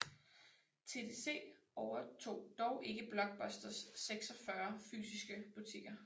TDC overtog dog ikke Blockbusters 46 fysiske butikker